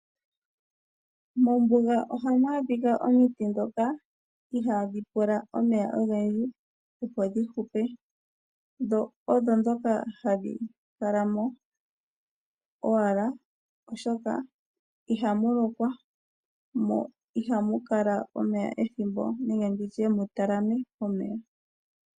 Mombuga ohamu adhika omiti ndhoka ihaadhi pula omeya ogendji opo dhi hupe dho odho ndhoka hadhi kala mo owala oshoka ihamu lokwa mo ihamu kala omeya ethimbo nenge mu talame omeya.